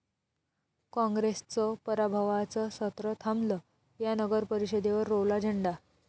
काँग्रेसचं पराभवाचं सत्र थांबलं, या नगरपरिषदेवर रोवला झेंडा